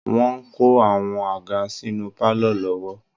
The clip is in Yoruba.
Wọ́n ń kó àwọn àga sínú pálọ̀ lọ́wọ́